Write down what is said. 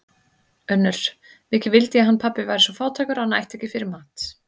UNNUR: Mikið vildi ég hann pabbi væri svo fátækur að hann ætti ekki fyrir mat.